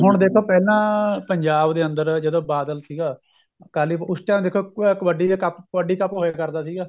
ਹੁਣ ਦੇਖੋ ਪਹਿਲਾਂ ਪੰਜਾਬ ਦੇ ਅੰਦਰ ਜਦੋਂ ਬਾਦਲ ਸੀਗਾ ਅਕਾਲੀ ਉਸ time ਦੇਖੋ ਕਬੱਡੀ ਦੇ cup ਕਬੱਡੀ cup ਹੋਇਆ ਕਰਦਾ ਸੀਗਾ